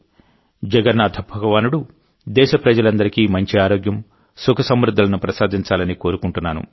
జగన్నాథ భగవానుడు దేశప్రజలందరికీ మంచి ఆరోగ్యం సుఖ సమృద్ధులను ప్రసాదించాలని కోరుకుంటున్నాను